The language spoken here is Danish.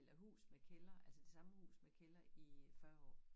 Eller hus med kælder altså det samme hus med kælder i øh 40 år